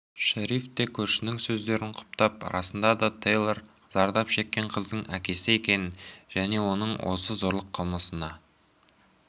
шериф те көршінің сөздерін құптап расында да тэйлор зардап шеккен қыздың әкесі екенін және оның осы зорлық қылмысына